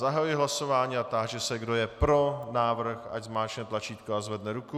Zahajuji hlasování a táži se, kdo je pro návrh, ať zmáčkne tlačítko a zvedne ruku.